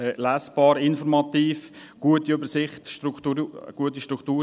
lesbar, informativ, eine gute Übersicht, eine gute Struktur.